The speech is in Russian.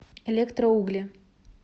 электроугли